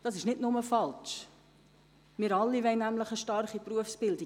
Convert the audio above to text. Das ist nicht nur falsch, denn wir alle wollen eine starke Berufsbildung.